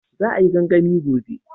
Za a yi gangami gobe